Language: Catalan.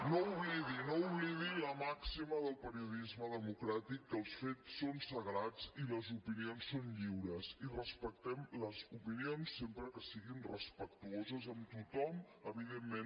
no oblidi no oblidi la màxima del periodisme democràtic que els fets són sagrats i les opinions són lliures i respectem les opinions sempre que siguin respectuoses amb tothom evidentment